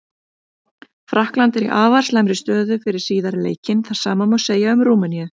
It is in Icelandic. Frakkland er í afar slæmri stöðu fyrir síðari leikinn, það sama má segja um Rúmeníu.